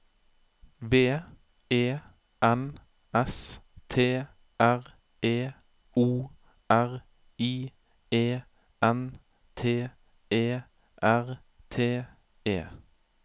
V E N S T R E O R I E N T E R T E